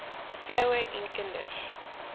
vroue en kinders